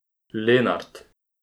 Lenart.